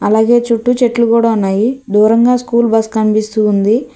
అలాగే చుట్టూ చెట్లు కూడా ఉన్నాయి దూరంగా స్కూల్ బస్సు కనిపిస్తుంది.